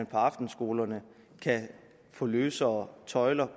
på aftenskolerne kan få løsere tøjler